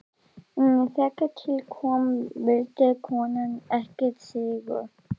En þegar til kom vildi konan ekki sýru.